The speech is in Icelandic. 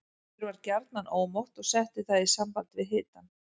Mér var gjarnan ómótt og setti það í samband við hitann.